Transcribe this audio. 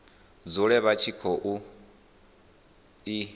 dzule vha tshi khou i